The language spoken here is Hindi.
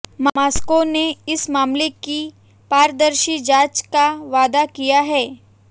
मास्को ने इस मामले की पारदर्शी जांच का वादा किया है